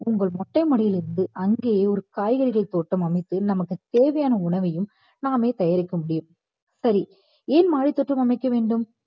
உங்கள் மொட்டை மாடியில் இருந்து அங்கேயே ஒரு காய்கறிகள் தோட்டம் அமைத்து நமக்கு தேவையான உணவையும் நாமே தயாரிக்க முடியும் சரி ஏன் மாடித்தோட்டம் அமைக்க வேண்டும்